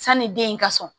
Sanni den in ka sɔn